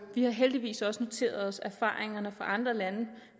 har heldigvis også noteret os at erfaringerne fra andre lande